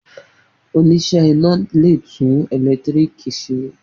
Oníṣẹ́ iná le tún ẹ̀lẹ́tíríkì ṣe.